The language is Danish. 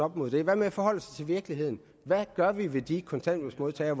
mod dem hvad med at forholde sig til virkeligheden hvad gør vi ved de kontanthjælpsmodtagere